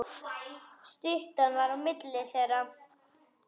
Styttan var á milli þeirra.